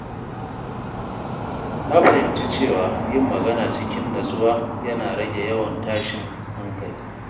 Na fahimci cewa yin magana cikin natsuwa yana rage yawan tashin hankali.